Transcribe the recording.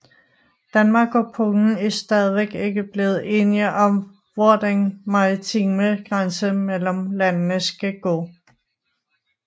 Danmark og Polen er stadigvæk ikke blevet enige om hvor den maritime grænse mellem landene skal gå